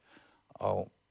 á